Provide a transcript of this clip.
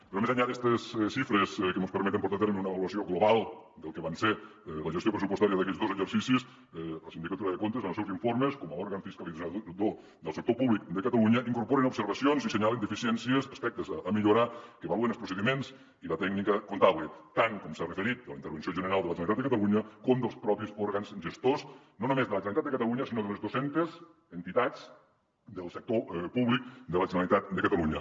però més enllà d’estes xifres que mos permeten portar a terme una avaluació global del que va ser la gestió pressupostària d’aquests dos exercicis la sindicatura de comptes en els seus informes com a òrgan fiscalitzador del sector públic de catalunya incorpora observacions i assenyala deficiències aspectes a millorar que avaluen els procediments i la tècnica comptable tant com s’ha referit de la intervenció general de la generalitat de catalunya com dels propis òrgans gestors no només de la generalitat de catalunya sinó de les dos centes entitats del sector públic de la generalitat de catalunya